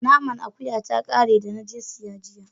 Naman akuya ta kare da na je siya jiya